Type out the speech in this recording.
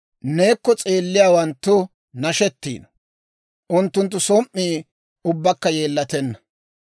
Neekko s'eelliyaawanttu nashettiino; unttunttu som"ii ubbakka yeellatenna.